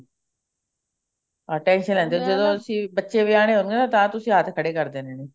tension ਲੈਂਦੇ ਹਾਂ ਜਦੋਂ ਅਸੀਂ ਬੱਚੇ ਵਿਆਉਣੇ ਆਂ ਤਾਂ ਤੁਸੀਂ ਹੱਥ ਖੜੇ ਕਰ ਦੇਣੇ ਨੇ